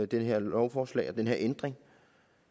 det her lovforslag og den her ændring